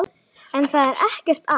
En það er ekki allt.